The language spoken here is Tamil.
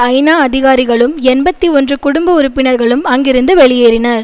ஐநா அதிகாரிகளும் எண்பத்தி ஒன்று குடும்ப உறுப்பினர்களும் அங்கிருந்து வெளியேறினர்